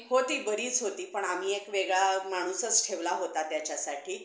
काय वाटलंच तर कर phone मला आता परत.